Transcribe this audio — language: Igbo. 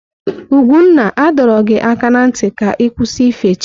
Ugwunna a dọrọ gị aka na ntị ka ị kwụsị ife chi!